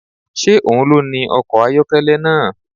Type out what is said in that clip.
Ṣé òun ló ni ọkọ̀ ayọ́kẹ́lẹ́ náà?